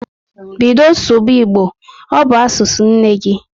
Bido sụba Igbo! Ọ bụ asụsụ nne gị